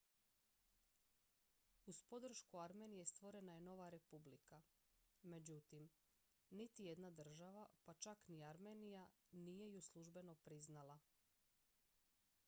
uz podršku armenije stvorena je nova republika međutim niti jedna država pa čak ni armenija nije ju službeno priznala